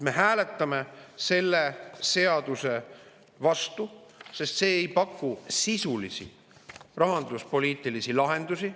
Me hääletame selle seaduse vastu, sest see ei paku sisulisi rahanduspoliitilisi lahendusi.